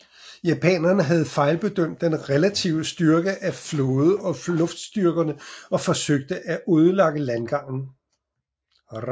Japanerne havde fejlbedømt den relative styrke af flåde og luftstyrkerne og forsøgte at ødelægge landgangen